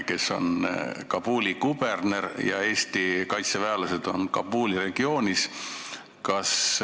Teatavasti on Kabuli kuberner Mohammad Yaqub Haidari Eestis tuntud ärimees, kes 2012. aastal tagaselja maksukuritegudes süüdi mõisteti ja kuni neli aastat karistuseks sai.